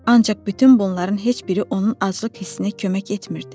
Ancaq bütün bunların heç biri onun aclıq hissinə kömək etmirdi.